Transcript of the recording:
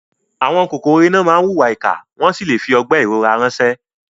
Àwọn kòkòrò iná máa ń hùwà ìkà wọ́n sì lè fi ọgbẹ́ ìrora ránṣẹ́.